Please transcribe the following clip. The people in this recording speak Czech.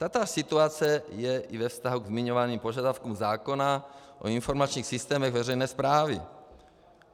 Tatáž situace je i ve vztahu ke zmiňovaným požadavkům zákona o informačních systémech veřejné správy.